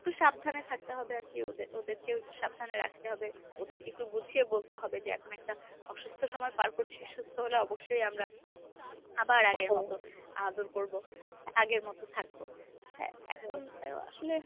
একটু সাবধানে থাকতে হবে আরকি ওদে~ ওদেরকেও একটু সাবধানে রাখতে হবে। ওদেরকে একটু বুঝিয়ে বলতে হবে যে এখন একটা অসুস্থ সময় পাড় করছি সুস্থ হলে অবশ্যই আমরা আবার আগের মত আদর করব, আগের মত থাকব হ্যাঁ এখন তো আসলে।